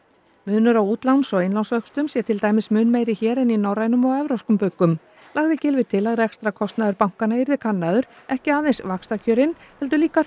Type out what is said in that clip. munur á útláns og innlánsvöxtum sé til dæmis mun meiri hér en í norrænum og evrópskum bönkum lagði Gylfi til að rekstrarkostnaður bankanna yrði kannaður ekki aðeins vaxtakjörin heldur líka